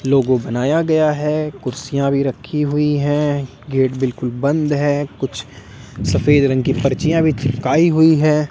लोगो बनाया गया है कुर्सियां भी रखी हुई हैं गेट बिल्कुल बंद है कुछ सफेद रंग की पर्चियां भी चिपकाई हुई है।